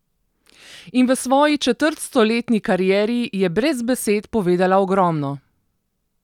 In v svoji četrtstoletni karieri je brez besed povedala ogromno.